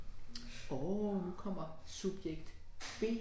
Forekommer subjekt B